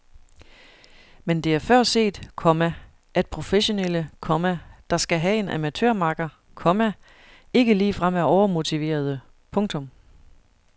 Men det er før set, komma at professionelle, komma der skal have en amatørmakker, komma ikke ligefrem er overmotiverede. punktum